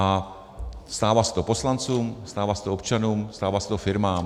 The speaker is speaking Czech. A stává se to poslancům, stává se to občanům, stává se to firmám.